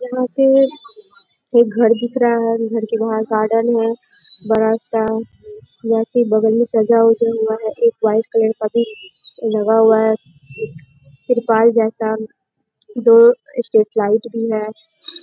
यहाँ पे एक घर दिख रहा है। घर के बाहर गार्डन है बड़ा सा। यहाँ से बगल में सजा ऊजा हुआ है। एक वाइट कलर का भी लगा हुआ है त्रिपाल जैसा। दो स्ट्रीट लाइट भी है।